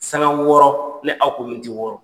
Sanga wɔɔrɔ. Ni aw ko wɔɔrɔ.